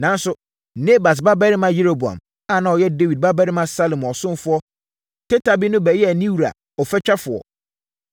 Nanso, Nebat babarima Yeroboam a na ɔyɛ Dawid babarima Salomo ɔsomfoɔ teta bi no bɛyɛɛ ne wura ɔfatwafoɔ.